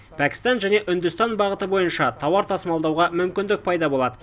пәкістан және үндістан бағыты бойынша тауар тасымалдауға мүмкіндік пайда болады